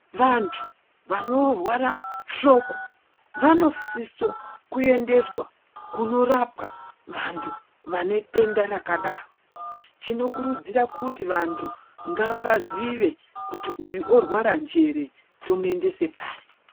Vantu vanorwara hloko vanosisa kuendeswa kunorapwa vantu vane denda rakadaro tinokurudzira kuti vantu ngavazive uyu orwaraa njere tomuendesa pari.